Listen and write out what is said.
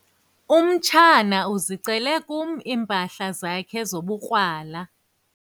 Umtshana uzicele kum iimpahla zakhe zobukrwala.